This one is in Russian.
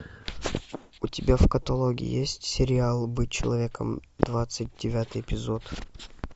у тебя в каталоге есть сериал быть человеком двадцать девятый эпизод